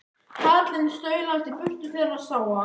Karlinn staulaðist í burtu þegar hann sá að